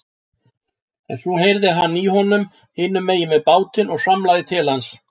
En svo heyrði hann í honum hinum megin við bátinn og svamlaði til hans.